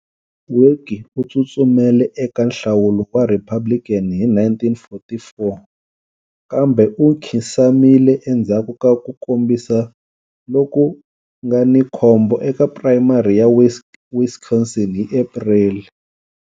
Willkie u tsutsumele eka nhlawulo wa Republican hi 1944, kambe u nkhinsamile endzhaku ka ku kombisa loku nga ni khombo eka primary ya Wisconsin hi April.